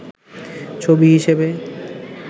ছবি হিসেবে